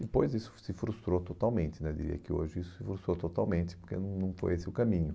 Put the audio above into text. Depois isso se frustrou totalmente né, diria que hoje isso se frustrou totalmente, porque não foi esse o caminho.